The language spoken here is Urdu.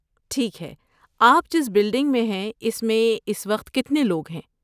ٹھیک ہے، آپ جس بلڈنگ میں ہیں اس میں اس وقت کتنے لوگ ہیں؟